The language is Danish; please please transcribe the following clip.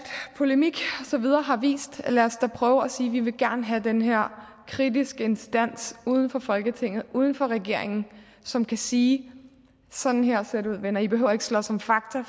polemik og så videre har vist lad os da prøve at sige at vi gerne vil have den her kritiske instans uden for folketinget uden for regeringen som kan sige sådan her ser det ud venner i behøver ikke slås om fakta